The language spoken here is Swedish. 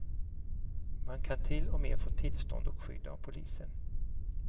Man kan till och med få tillstånd och skydd av polisen.